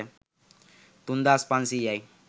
තුන්දාස් පන්සීයයි